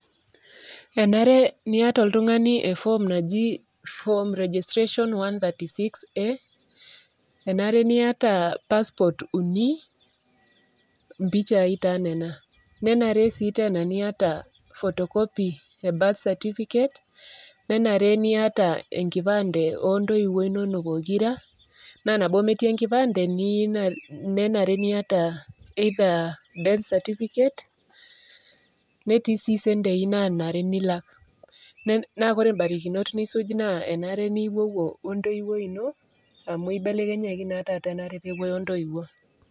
enare niata oltungani e form naji form registration 36a,enare niata passport uni, impichai taa nena, nenare sii niata photocopy e birth certificate ,nenare sii niata enkipande oo ntoiwuo inonok pokira, naa tenemetii enkipande nenare niata, either birthcertificate, netii sii isentii naanare nilak. naa barikinot nisuj naa enare nipuopuo we ntoiwuoi ino amu ibeleknyaki taata pee eriki ntoiwuo.